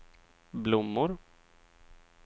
blommor